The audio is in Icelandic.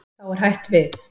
Þá er hætt við.